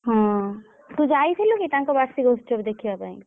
ହଁ ତୁ ଯାଇଥିଲୁ କି ତାଙ୍କ ବାର୍ଷିକ ଉତ୍ସବ ଦେଖିବା ପାଇଁ?